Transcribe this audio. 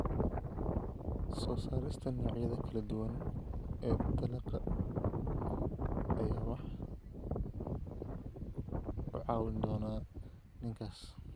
Soo saarista noocyada kala duwan ee dalagga ayaa ah waxa u caawin doona ninkaas.